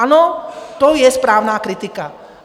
Ano, to je správná kritika.